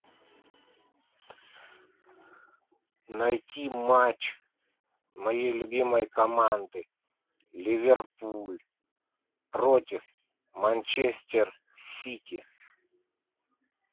найти матч моей любимой команды ливерпуль против манчестер сити